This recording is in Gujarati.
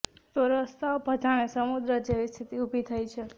તો રસ્તાઓ પર જાણે સમુદ્ર જેવી સ્થિતિ ઉભી થઇ છે